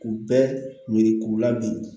K'u bɛɛ ɲini k'u ladege